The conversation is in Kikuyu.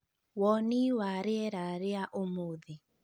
woni wa rīera rīa ūmūthi